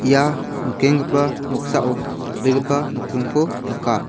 ia nikengipa noksao dal·begipa nokdringko nika.